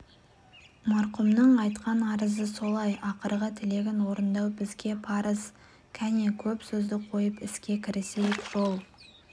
марқұмның айтқан арызы солай ақырғы тілегін орындау бізге парыз кәне көп сөзді қойып іске кірісейік жол